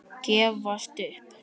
Gefast upp!